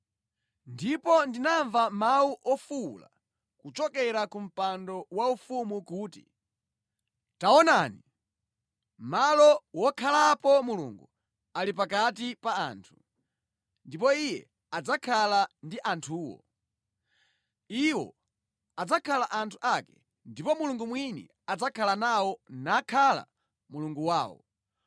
Ndipo ndinamva mawu ofuwula kuchokera ku Mpando Waufumu kuti, “Taonani! Malo wokhalapo Mulungu ali pakati pa anthu, ndipo Iye adzakhala ndi anthuwo. Iwo adzakhala anthu ake ndipo Mulungu mwini adzakhala nawo nakhala Mulungu wawo.